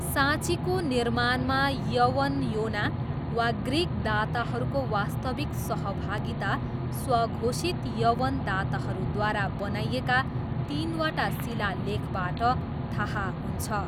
साँचीको निर्माणमा यवनयोना वा ग्रिक दाताहरूको वास्तविक सहभागिता स्वघोषित यवन दाताहरूद्वारा बनाइएका तिनवटा शिलालेखबाट थाहा हुन्छ।